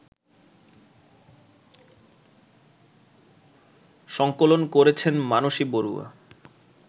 সঙ্কলন করেছেন মানসী বড়ুয়া